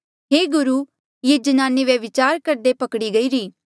हे गुरु ये ज्नाने व्यभिचार करदे पकड़ी गईरी